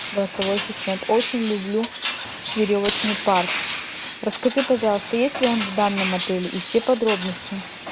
голосовой ассистент очень люблю веревочный парк расскажи пожалуйста есть ли он в данном отеле и все подробности